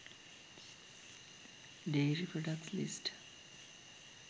dairy products list